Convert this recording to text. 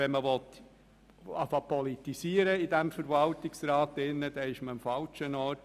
Wenn man nun in diesem Verwaltungsrat zu politisieren beginnen will, dann ist man am falschen Ort.